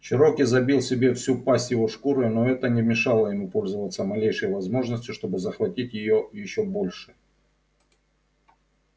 чероки забил себе всю пасть его шкурой но это не мешало ему пользоваться малейшей возможностью чтобы захватить её ещё больше